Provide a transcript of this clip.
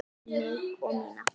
Takk fyrir mig og mína.